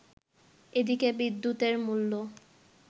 এদিকে বিদ্যুতের মূল্য